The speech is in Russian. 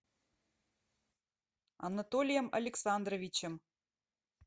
анатолием александровичем